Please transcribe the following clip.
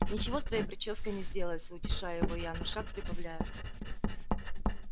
ничего с твоей причёской не сделается утешаю его я но шаг прибавляю